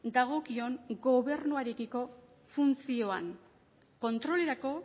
dagokion gobernuarekiko funtzioan kontrolerako